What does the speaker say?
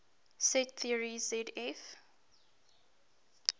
set theory zf